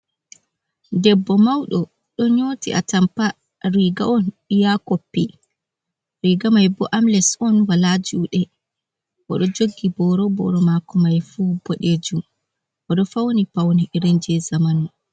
Debbo mauɗo ɗo nyoti atampa riga on iyakoppi, riga mai bo amles on wala juɗe, oɗo jogi boro, boro mako mai fu boɗejum, oɗo fawni paune irinje zamanu.